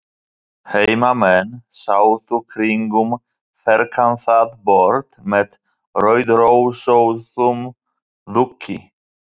Heimamenn sátu kringum ferkantað borð með rauðrósóttum dúki.